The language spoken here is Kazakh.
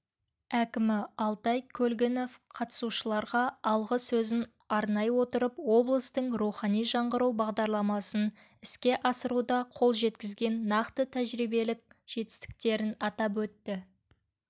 әкімі алтай көлгінов қатысушыларға алғы сөзін арнай отырып облыстың рухани жаңғыру бағдарламасын іске асыруда қол жеткізген нақты тәжірибелік жетістіктерін атап өтті